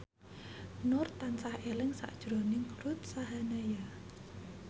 Nur tansah eling sakjroning Ruth Sahanaya